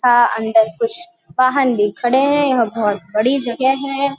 था अंदर कुछ वाहन भी खड़े हैं और बहोत बड़ी जगह है।